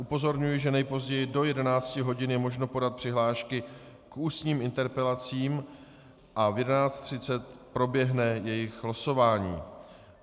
Upozorňuji, že nejpozději do 11 hodin je možno podat přihlášky k ústním interpelacím a v 11.30 proběhne jejich losování.